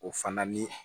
O fana ni